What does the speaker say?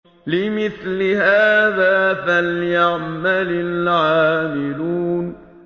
لِمِثْلِ هَٰذَا فَلْيَعْمَلِ الْعَامِلُونَ